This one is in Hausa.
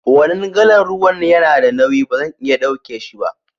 Wanan galan ruwan ya na da nauyi, ba zan iya dauke shi ba.